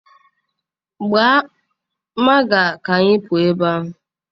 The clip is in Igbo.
Gbaa Maga ka anyị pụọ ebe a